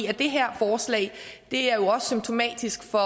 her forslag er jo også symptomatisk for